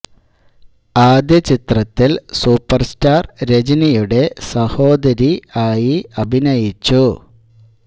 ആദ്യ ചിത്രത്തിൽ സൂപ്പർസ്റ്റാർ രജനി യുടെ സഹോദരി ആയി അഭിനയിച്ചു